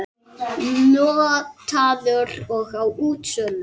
Notaður og á útsölu